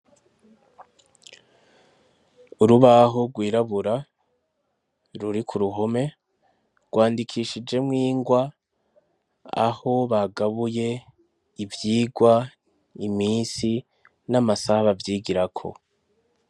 Urubaho rwirabura ruri ku ruhome rwandikishijemwo ingwa, aho bagabuye ivyigwa, imisi n'amasaha bavyigirako.